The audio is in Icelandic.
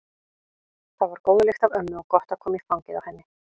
Það var góð lykt af ömmu og gott að koma í fangið á henni.